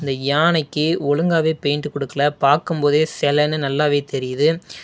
இந்த யானைக்கு ஒழுங்காவே பெயிண்ட் குடுக்கல பாக்கும்போதே செலன்னு நல்லாவே தெரியிது.